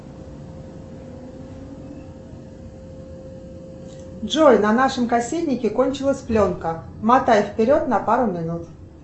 джой на нашем кассетнике кончилась пленка мотай вперед на пару минут